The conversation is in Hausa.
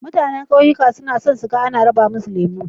Mutanan ƙauyuka suna son su ga ana raba musu lemo.